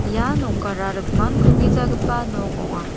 ia nokara rikmankugijagipa nok ong·a.